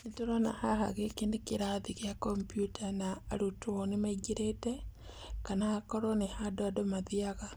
Nĩ tũrona haha gĩkĩ nĩ kĩrathi gĩa computer na arutwo nĩ maingĩrĩte kana akorwo nĩ handũ andũ mathiaga